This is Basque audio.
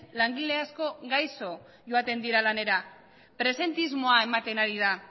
langile asko gaixo joaten dira lanera presentismoa ematen ari da